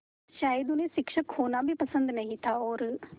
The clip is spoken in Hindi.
शायद उन्हें शिक्षक होना भी पसंद नहीं था और